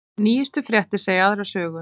Nýjustu fréttir segja aðra sögu